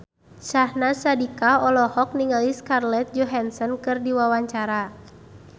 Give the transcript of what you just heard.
Syahnaz Sadiqah olohok ningali Scarlett Johansson keur diwawancara